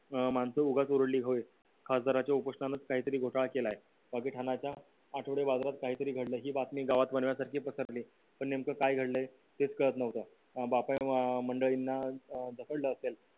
माणसं उगाच ओरडली होय खासदाराच्या उपोषणान काहीतरी घोटाळा केलाय आठवडे बाजारात काहीतरी घडले ही बातमी गावात वनव्यासारखी पसरली पण नेमकं काय घडलंय तेच कळत नव्हतं अं मंडळींना पकडलं असेल